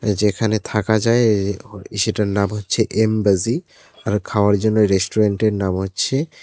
যেখানে থাকা যায় এ ও সেটার নাম হচ্ছে এমবাজি আর খাওয়ার জন্য রেস্টুরেন্টের নাম হচ্ছে--